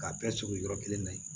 K'a bɛɛ sogo yɔrɔ kelen na yen